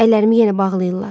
Əllərimi yenə bağlayırlar.